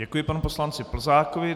Děkuji panu poslanci Plzákovi.